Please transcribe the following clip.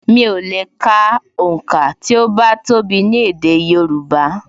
Mi ò lè ka onka ti o bá tó bi ni èdè Yorùbá